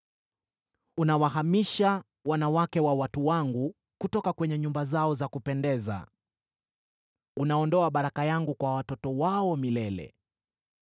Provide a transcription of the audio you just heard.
Unawahamisha wanawake wa watu wangu kutoka kwenye nyumba zao za kupendeza. Unaondoa baraka yangu kwa watoto wao milele.